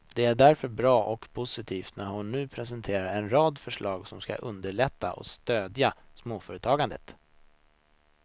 Det är därför bra och positivt när hon nu presenterar en rad förslag som skall underlätta och stödja småföretagandet.